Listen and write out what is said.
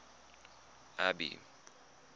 abby